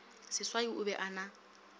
seswai o be a na